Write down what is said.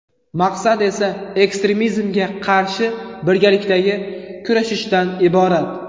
Maqsad esa ekstremizmga qarshi birgalikdagi kurashishdan iborat.